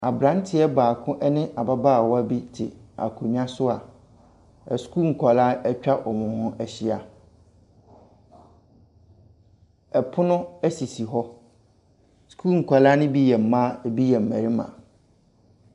Aberanteɛ baako ne ababaawa bi te akonnwa so a asukuu nkwadaa atwa wɔn ho ahyia. Pono sisi hɔ. Sukuu nkwadaa no bi yɛ mmaa, ebi yɛ mmarima.